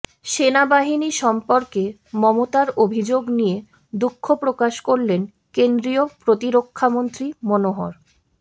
সেনাবাহিনী সম্পর্কে মমতার অভিযোগ নিয়ে দুঃখপ্রকাশ করলেন কেন্দ্রীয় প্রতিরক্ষামন্ত্রী মনোহর